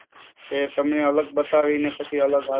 કે તમે અલગ બતાવીને પછેં અલગ વાત